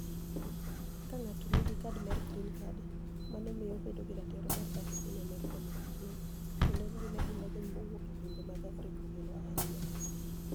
Ka nig'ato niigi kad mar Greeni Card, mano miyo obedo gi ratiro mar dak e piniy Amerka niyaka chienig' kenido eni gima ji manig'eniy mowuok e pinije mag Afrika ogeno ahiniya.